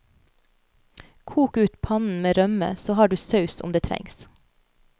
Kok ut pannen med rømme, så har du saus om det trengs.